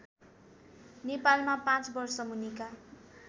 नेपालमा पाँच वर्षमुनिका